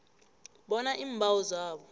bona iimbawo zawo